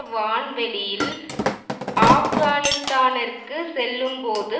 வான்வெளியில் ஆப்கானிஸ்தானிற்கு செல்லும்போது